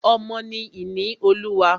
Ọmọ ni ìní Olúwa.